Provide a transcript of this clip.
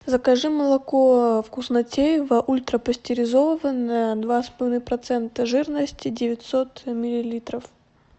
закажи молоко вкуснотеево ультрапастеризованное два с половиной процента жирности девятьсот миллилитров